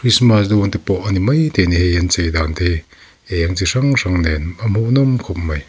christmas dawnte pawh a ni maithei a ni hei an inchei dan te hi eng chi hrang hrang nen a hmuh nawm khawp mai .